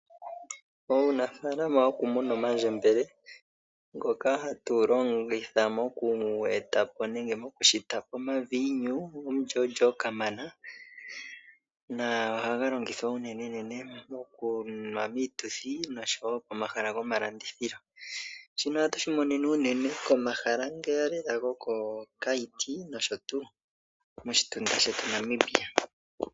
Uunafalama wokumuna omandjembele ngoka hatu longitha moku eta po nenge mokushita po omaviinyu omulyoolyo kamana, na ohaga longithwa unenenene mokunwa miituthi nosho wo pomahala gomalandithilo, shino ohatu shi monene unene komahala ngeya lela gokoKaiti nosho tuu moshitunda shetu Namibia.